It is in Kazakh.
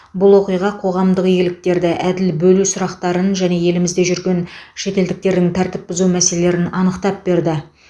бұл оқиға қоғамдық игіліктерді әділ бөлу сұрақтарын және елімізде жүрген шетелдіктердің тәртіп бұзу мәселелерін анықтап берді